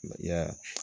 Ya